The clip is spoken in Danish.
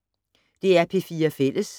DR P4 Fælles